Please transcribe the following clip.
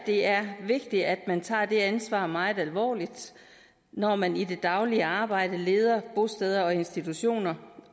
det er vigtigt at man tager det ansvar meget alvorligt når man i det daglige arbejde leder bosteder og institutioner